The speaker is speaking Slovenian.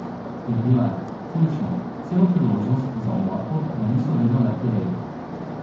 Dobila je, končno, celo priložnost za omako, da niso vedno le pireji.